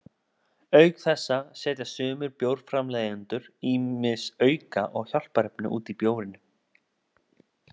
Auk þessa setja sumir bjórframleiðendur ýmis auka- og hjálparefni út í bjórinn.